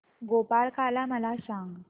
गोपाळकाला मला सांग